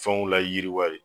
Fɛnw layiriwa ye.